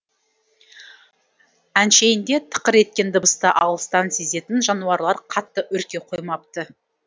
әншейінде тықыр еткен дыбысты алыстан сезетін жануарлар қатты үрке қоймапты